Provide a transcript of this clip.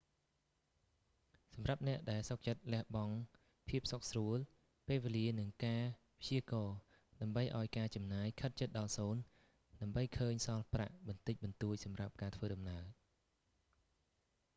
សម្រាប់អ្នកដែលសុខចិត្តលះបង់ភាពសុខស្រួល ពេលវេលានិងការព្យាករណ៍ ដើម្បីឲ្យការចំណាយខិតជិតដល់សូន្យ ដើម្បីឃើញសល់ប្រាក់បន្តិចបន្តួចសម្រាប់ការធ្វើដំណើរ